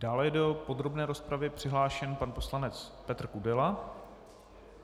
Dále je do podrobné rozpravy přihlášen pan poslanec Petr Kudela.